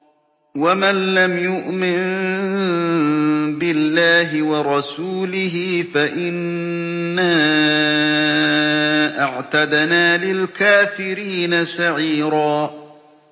وَمَن لَّمْ يُؤْمِن بِاللَّهِ وَرَسُولِهِ فَإِنَّا أَعْتَدْنَا لِلْكَافِرِينَ سَعِيرًا